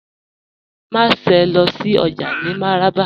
Màṣẹ̀ lọ sí ọjà ni Mararaba